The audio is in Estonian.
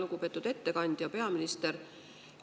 Lugupeetud ettekandja, peaminister!